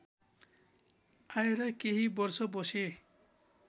आएर केही वर्ष बसे